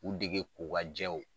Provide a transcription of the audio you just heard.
K'u dege ko ka jɛw